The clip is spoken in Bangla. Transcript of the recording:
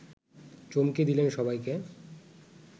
চমকে দিলেন সবাইকে